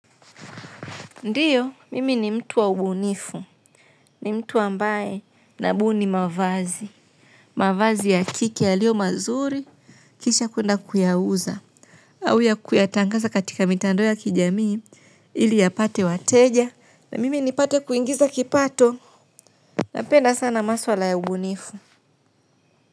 Ndiyo mimi ni mtu wa ubunifu. Ni mtu ambaye nabuni mavazi. Mavazi ya kike yaliyo mazuri kisha kwenda kuyauza. Au ya kuyatangaza katika mitandao ya kijamii ili yapate wateja. Na mimi nipate kuingiza kipato. Napenda sana maswla ya ubunifu.